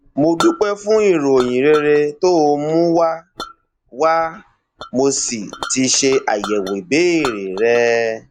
mo dúpẹ fún ìròyìn rere tó o mú wá wá mo sì ti ṣe àyẹwò ìbéèrè rẹ